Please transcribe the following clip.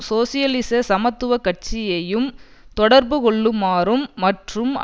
சோசியலிச சமத்துவ கட்சியையும் தொடர்புகொள்ளுமாறும் மற்றும்